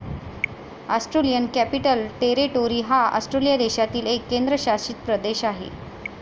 Australian capital territory हा Australia देशातील एक केंद्रशासित प्रदेश आहे.